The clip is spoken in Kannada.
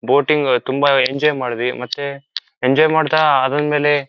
ಬೋಟಿಂಗ್ ತುಂಬಾ ನೇ ಎಂಜಾಯ್ ಮಾಡಿದ್ವಿ ಮತ್ತೆ ಎಂಜಾಯ್ ಮಾಡ್ತಾ ಅದರ್ ಮೇಲೆ--